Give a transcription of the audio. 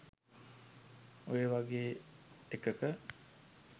ඔය වගේ එකක